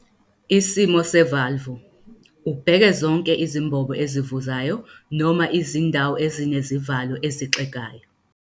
Isimo sevalvu, ubheke zonke izimbobo ezivuzayo noma izindawo ezinezivalo ezixegayo.